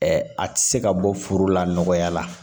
a tɛ se ka bɔ furu la nɔgɔya la